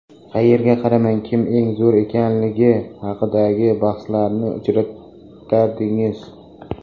Qayerga qaramang, kim eng zo‘ri ekanligi haqidagi bahslarni uchratardingiz.